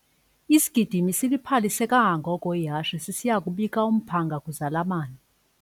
Isigidimi siliphalise kangangoko ihashe sisiya kubika umphanga kwizalamane.